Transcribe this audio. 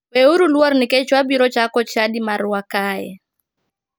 We uru luor nikech wabiro chako chadi marwa kae.